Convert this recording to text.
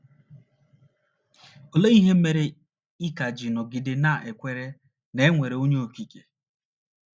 Olee ihe mere ị ka ji nọgide na - ekwere na e nwere Onye Okike?